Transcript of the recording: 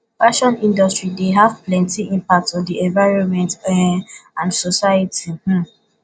fashion industry dey have plenty impact on di envionment um and society um